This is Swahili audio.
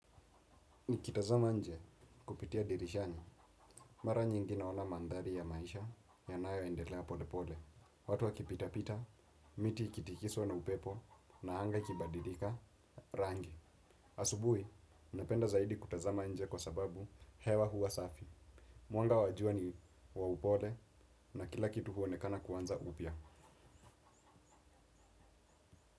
Nikitazama nje kupitia dirishani. Mara nyingi naona mandhari ya maisha yanaoendelea pole pole. Watu wa kipita pita, miti ikitikiswa na upepo na hanga ikibadilika rangi. Asubui, napenda zaidi kutazama nje kwa sababu hewa hua safi. Mwanga wajua ni wa upole na kila kitu huonekana kuanza upia.